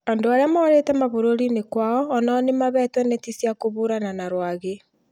Andũ arĩa moorĩte mabũrũriinĩ kwao onao nĩmaheiirwo neti cia kũhũrana na rwagĩ